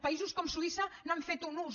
països com suïssa n’han fet un ús